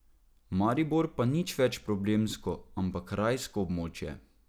Maribor pa nič več problemsko, ampak rajsko območje.